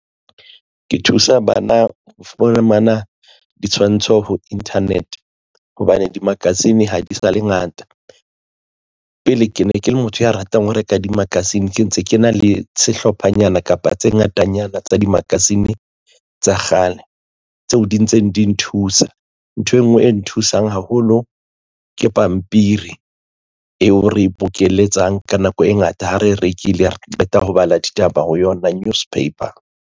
Ke thusa bana ho fumana ditshwantsho ho internet hobane di-magazine ha di sale ngata pele ke ne ke le motho ya ratang ho reka di-magazine ke ntse ke na le sehlophanyana kapa tse ngatanyana tsa di-magazine tsa kgale tseo di ntseng di nthusa ntho engwe e nthusang haholo ke pampiri eo re e bokelletsang ka nako e ngata ha e rekile re qeta ho bala ditaba ho yona newspaper.